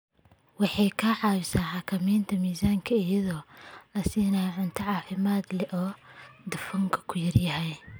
Waxay ka caawisaa xakamaynta miisaanka iyadoo la siinayo cunto caafimaad leh oo dufanku ku yar yahay.